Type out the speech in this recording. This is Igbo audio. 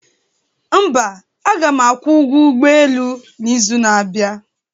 mba, aga m akwụ ụgwọ ụgbọ elu n'izu na-abịa